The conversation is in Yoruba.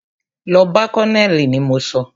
Lọ bá colonel ni mo sọ!